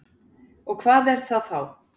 Og hvað er það þá?